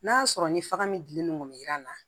N'a sɔrɔ ni faga min dilen no jiran na